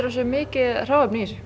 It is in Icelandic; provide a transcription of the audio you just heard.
það sé mikið hráefni